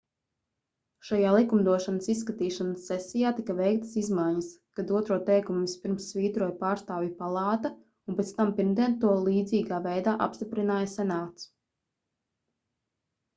šajā likumdošanas izskatīšanas sesijā tika veiktas izmaiņas kad otro teikumu vispirms svītroja pārstāvju palāta un pēc tam pirmdien to līdzīgā veidā apstiprināja senāts